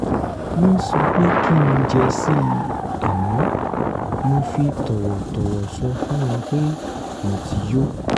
wọ́n sọ pé kí n jẹ si àmọ́ mo fi tọ̀wọ̀tọ̀wọ̀ sọ fún wọn pé mo ti yó